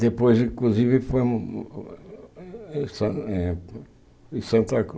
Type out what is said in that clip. Depois, inclusive, fomos em San eh em Santa